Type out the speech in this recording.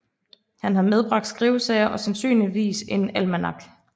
Han har medbragt skrivesager og sandsynligvis en almanak